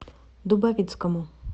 дубовицкому